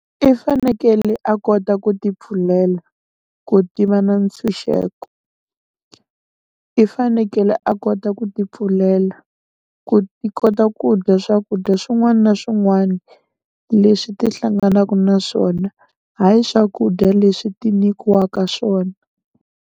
I fanekele a kota ku ti pfulela ku tiva na ntshunxeko, i fanekele a kota ku ti pfulela ku ti kota ku dya swakudya swin'wani na swin'wani leswi ti hlanganaku na swona hayi swakudya leswi ti nyikiwaka swona.